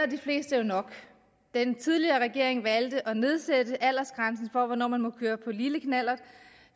de fleste jo nok den tidligere regering valgte at nedsætte aldersgrænsen for hvornår man må køre på lille knallert